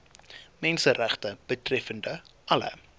menseregte betreffende alle